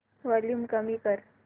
volume कमी कर